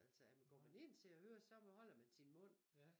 Altså at man går man ind til at høre så holder man sin mund